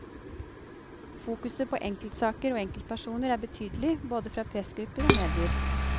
Fokuset på enkeltsaker og enkeltpersoner er betydelig, både fra pressgrupper og medier.